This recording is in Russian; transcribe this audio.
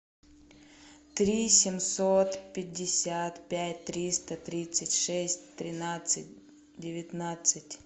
три семьсот пятьдесят пять триста тридцать шесть тринадцать девятнадцать